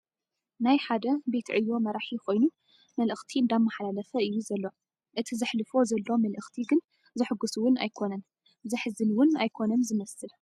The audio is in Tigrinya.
ናይ ሓደ ቤት ዕዮ መራሒ ኾይኑ መልእኽት እንዳመሓላለፈ እዩ ዘሎ ፡ እቲ ዘሕልፎ ዘሎ መልእኽቲ ግን ዘሕጉስ እውን ኣይኮነን ዘሕዝል 'ውን ኣይኮነን ዝመስል ።